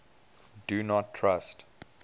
do not trust